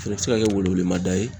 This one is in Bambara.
O fɛnɛ be se ka kɛ wele welemada ye